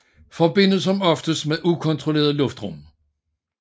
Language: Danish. Forbindes som oftest med ukontrolleret luftrum